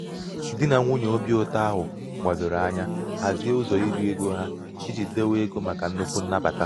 di nà nwunyè obīụ̄tọ̄ ahụ gbàdòrò anya hazie ụzọ̀ irī ego ha ijī dewe egō̄ màkà nnukwu nnabàta.